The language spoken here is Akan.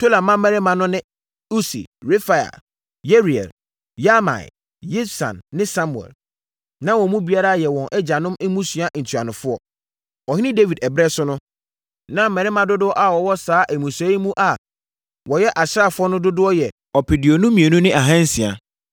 Tola mmammarima no ne: Usi, Refaia, Yeriel, Yahmai, Yibsam ne Samuel. Na wɔn mu biara yɛ wɔn agyanom mmusua ntuanofoɔ. Ɔhene Dawid ɛberɛ so no, na mmarima dodoɔ a wɔwɔ saa mmusua yi mu a wɔyɛ asraafoɔ no dodoɔ yɛ ɔpeduonu mmienu ne ahansia (22,600).